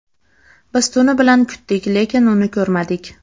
Biz tuni bilan kutdik, lekin uni ko‘rmadik.